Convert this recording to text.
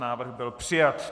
Návrh byl přijat.